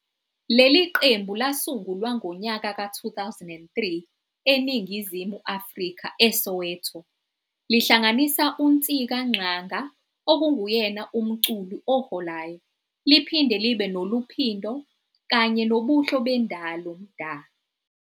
Leli qembu lasungulwa ngonyaka ka2003 eNingizimu Afrika eSoweto, lihlanganisa uNtsika Ngxanga okunguyena umculi oholayo, liphinde libe noLuphindo kanye noBuhlebendalo Mda.